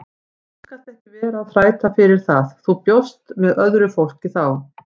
Þú skalt ekkert vera að þræta fyrir það, þú bjóst með öðru fólki þá!